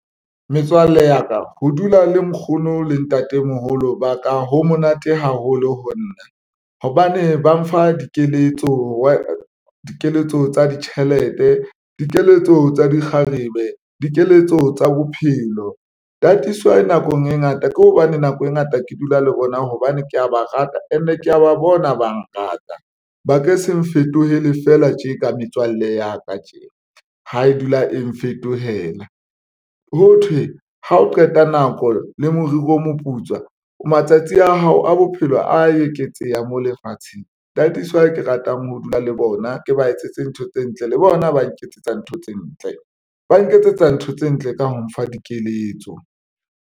Metswalle ya ka ho dula le nkgono le ntatemoholo ba ka ho monate haholo ho nna hobane ba mfa dikeletso, dikeletso tsa ditjhelete, dikeletso tsa di kgarebe, dikeletso tsa bophelo tataiso nakong e ngata ke hobane nako e ngata. Ke dula le bona hobane ke ya ba rata and ke ya ba bona ba ngata ba ka se nfetohela fela tje ka metswalle ya ka tje. Ha e dula e nfetohela, ho thwe ha o qeta nako le moriri o moputswa. Matsatsi a hao a bophelo a eketseha mo lefatsheng. Tataiso ao ke ratang ho dula le bona ke ba etsetse ntho tse ntle le bona, ba nketsetsa ntho tse ntle, ba nketsetsa ntho tse ntle ka ho mfa dikeletso.